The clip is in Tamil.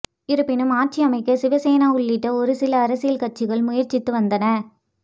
இருப்பினும் ஆட்சி அமைக்க சிவசேனா உள்ளிட்ட ஒரு சில அரசியல் கட்சிகள் முயற்சித்து வந்தன